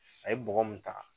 A ye bɔgɔ mun ta